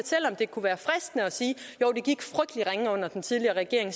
selv om det kunne være fristende at sige at ringe under den tidligere regering